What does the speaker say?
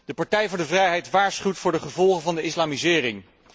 De Partij voor de Vrijheid waarschuwt voor de gevolgen van de islamisering.